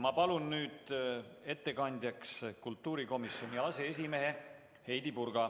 Ma palun nüüd ettekandjaks kultuurikomisjoni aseesimehe Heidy Purga.